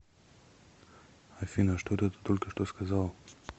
афина что это ты только что сказал